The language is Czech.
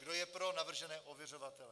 Kdo je pro navržené ověřovatele?